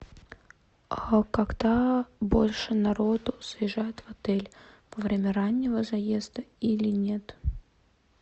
а когда больше народу заезжает в отель во время раннего заезда или нет